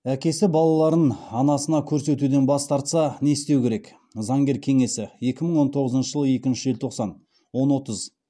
әкесі балаларын анасына көрсетуден бас тартса не істеу керек заңгер кеңесі екі мың он тоғызыншы жылғы екінші желтоқсан он бір отыз